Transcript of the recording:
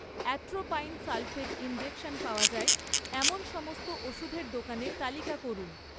atropine sulphate injection পাওয়া যায় এমন সমস্ত ওষুধের দোকানের তালিকা করুন